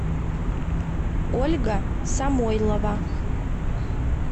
ольга самойлова